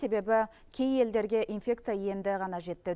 себебі кей елдерге инфекция енді ғана жетті